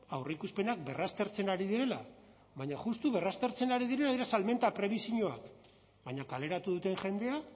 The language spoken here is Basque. aurreikuspenak berraztertzen ari direla baina justu berraztertzen ari direla ere salmenta prebisioak baina kaleratu duten jendea